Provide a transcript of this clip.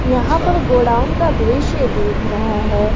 यहां पर गोडाउन का दृश्य दिख रहा है।